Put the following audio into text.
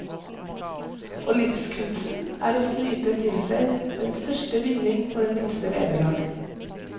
Og livskunsten er å snyte til seg den største vinning for det minste vederlag.